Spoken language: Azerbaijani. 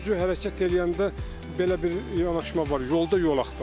Sürücü hərəkət eləyəndə belə bir yanaşma var, yolda yol axtarır.